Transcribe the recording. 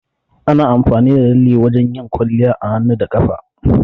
Ana amfani da lalle wajan yin kwalliya a hannu da kafa